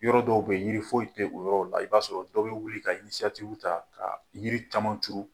Yɔrɔ dɔw bɛ yen ,yiri foyi tɛ o yɔrɔw la. I b'a sɔrɔ dɔw bɛ wili ka ta ka yiri caman turu.